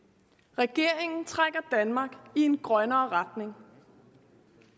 regeringen trækker danmark i en grønnere retning